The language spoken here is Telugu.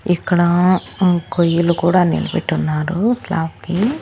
ఇక్కడ కొయ్యలు కూడా నిలబెట్టి ఉన్నారు స్లాబ్ కి .